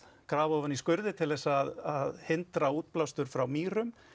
grafa ofan í til að hindra útblástur frá mýrum